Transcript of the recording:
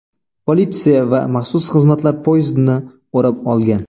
Politsiya va maxsus xizmatlar poyezdni o‘rab olgan.